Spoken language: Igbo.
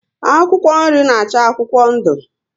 Akwụkwọ nri na acha akwụkwọ ndu